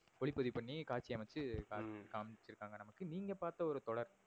ஒளிபதிவுபண்ணி காட்சி அமச்சி காண்பி காமிச்சி இருகாங்க நமக்கு நீங்க பாத்த ஒரு தொடர்.